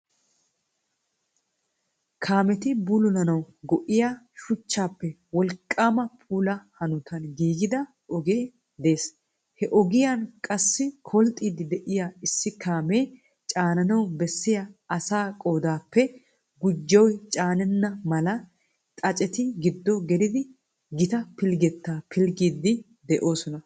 Kaameti buluulanawu go'iya shuchchaappe wooliqqama puula hanotan gigida oge de'ees. He ogiyan qassi koolxxiidi de'iya issi kaame caananawu beessiya asaa qoodappe guujjoyi caanetenna mala xaacceti giddo gelidi gita piilggetaa piilgiidi de'oosona.